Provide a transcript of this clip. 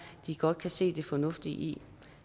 godt kan se det fornuftige i